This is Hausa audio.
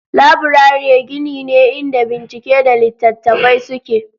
Laburare gini ne inda bincike da littattafai suke.